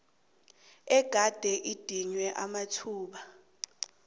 egade idinywe amathuba